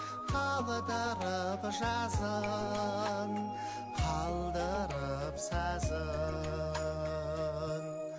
қалдырып жазын қалдырып сазын